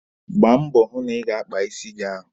Gbaa mbọ hụ na ị ga-akpa isi gị ahụ!